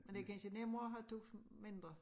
Men det kansje nemmere at have to mindre